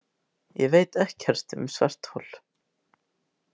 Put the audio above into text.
Ég veit ekkert um svarthol.